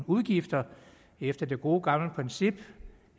udgifter efter det gode gamle princip